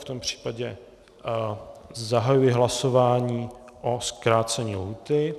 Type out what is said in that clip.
V tom případě zahajuji hlasování o zkrácení lhůty.